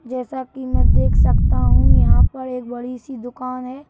जैसा कि मैं देख सकता हूं यहाँ पर एक बड़ी सी दुकान है।